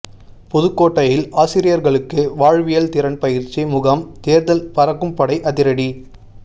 புதுக்கோட்டையில் ஆசிரியர்களுக்கு வாழ்வியல் திறன் பயிற்சி முகாம் தேர்தல் பறக்கும்படை அதிரடி